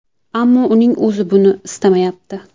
Ammo uning o‘zi buni istamayapti.